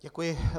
Děkuji.